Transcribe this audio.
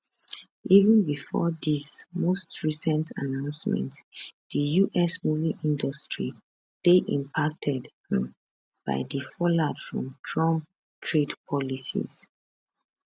even bifor dis most recent announcement di us movie industry dey impacted um by di fallout from trump trade policies